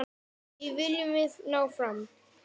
Því viljum við ná fram.